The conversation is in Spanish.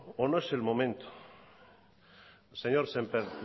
o no es el momento señor sémper